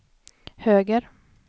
höger